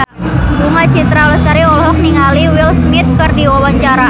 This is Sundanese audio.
Bunga Citra Lestari olohok ningali Will Smith keur diwawancara